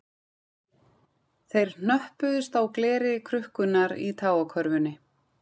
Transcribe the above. Þeir hnöppuðust á gleri krukkunnar í tágakörfunni